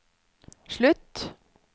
slutt